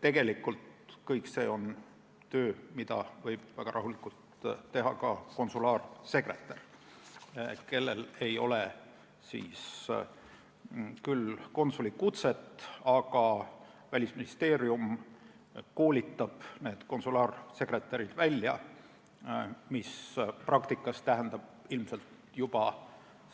Tegelikult on kõik see töö, mida võib väga rahulikult teha ka konsulaarsekretär, kellel ei ole küll konsulikutset, aga kelle Välisministeerium välja koolitab, mis praktikas tähendab ilmselt juba